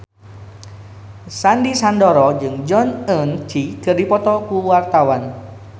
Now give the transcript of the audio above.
Sandy Sandoro jeung Jong Eun Ji keur dipoto ku wartawan